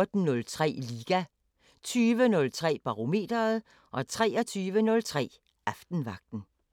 09:05: Musikquizzen 14:03: Liga 20:03: Barometeret 23:03: Aftenvagten